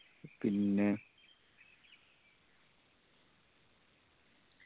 പിന്നെ